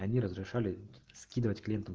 они разрешали скидывать клиентам